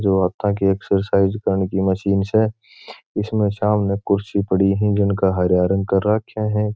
जो हाथा की एक्सरसाइज करने की मशीन छे जिसमे सामने कुर्सी पड़ी है जिनका हरिया रंग कर राख्या है।